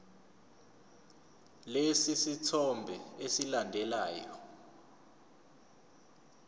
lesi sithombe esilandelayo